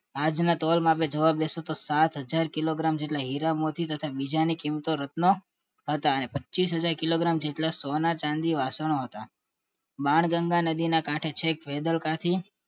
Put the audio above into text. આજના તોલમાંઆપડે જોવા બેસે તો સાત હાજર કિલો ગ્રામ જેટલા હીરા મોતી તથા બીજા કિંમતી રત્નો હતા એમ પચીસહાજર કિલોગ્રામ જેટલા સોના-ચાંદી વાસણો હતા બાલગંગા નદીના કાંઠે છેક વેદલ થી